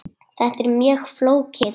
Þetta er mjög flókið.